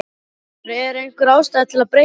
Fréttamaður: Er einhver ástæða til að breyta þeim?